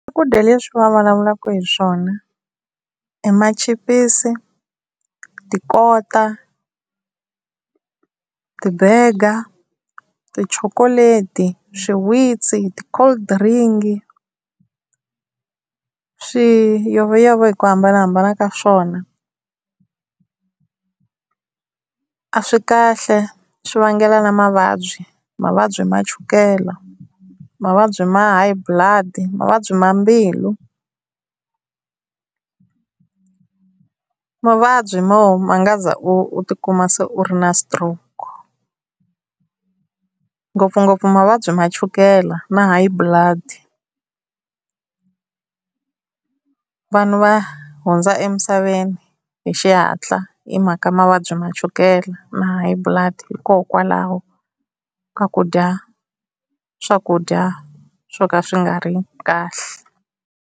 Swakudya leswi va vulavulaka hi swona i machipisi, tikota, ti-burger, tichokoleti, swiwitsi, ti-cold drink, swiyoveyove hi ku hambanahambana ka swona a swi kahle swi vangela na mavabyi mavabyi ma chukela, mavabyi ma high blood, mavabyi ma mbilu, mavabyi mo ma nga za u u ti kuma se u ri na stroke ngopfungopfu mavabyi ma chukela na high blood. Vanhu va hundza emisaveni hi xihatla hi mhaka mavabyi ma chukela na high blood hikokwalaho ka ku dya swakudya swo ka swi nga ri kahle.